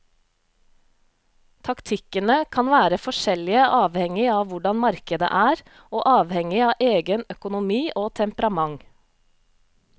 Taktikkene kan være forskjellige avhengig av hvordan markedet er, og avhengig av egen økonomi og temperament.